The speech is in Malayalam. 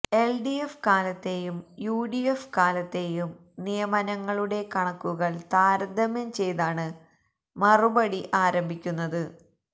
എല്ഡിഎഫ് കാലത്തെയും യുഡിഎഫ് കാലത്തെയും നിയമനങ്ങളുടെ കണക്കുകള് താരതമ്യം ചെയ്താണ് മറുപടി ആരംഭിക്കുന്നത്